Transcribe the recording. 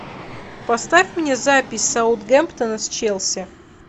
поставь мне запись саутгемптона с челси